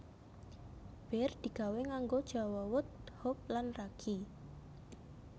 Bir digawé nganggo jawawut hop lan ragi